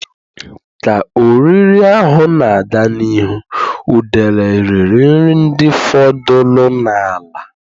Ka oriri ahụ na-aga n'ihu, udele riri nri ndị fọdụrụ n'ala.